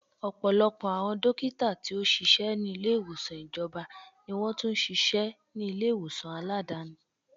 Ọ̀pọ̀lọpọ̀ àwọn dókítà tí ó ṣíṣe ni ilé ìwòsàn ìjọba ni wọn tún ṣíṣe ṣíṣe ní ilé ìwòsàn Aládàáni.